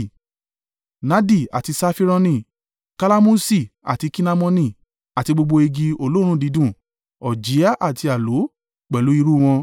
nadi àti Safironi, kalamusi àti kinamoni, àti gbogbo igi olóòórùn dídùn, òjìá àti aloe pẹ̀lú irú wọn.